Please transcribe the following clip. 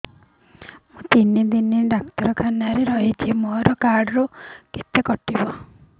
ମୁଁ ତିନି ଦିନ ଡାକ୍ତର ଖାନାରେ ରହିଛି ମୋର କାର୍ଡ ରୁ କେତେ କଟିବ